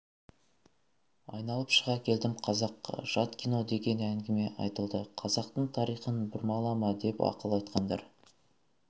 айналып шыға келдім қазаққа жат кино деген әңгіме айтылды қазақтың тарихын бұрмалама деп ақыл айтқандар